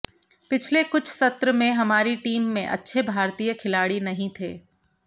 पिछले कुछ सत्र में हमारी टीम में अच्छे भारतीय खिलाड़ी नहीं थे